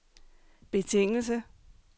betingelse